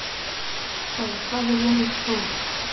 Sál, hvað er jörðin stór?